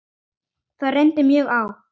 Það reyndi mjög á.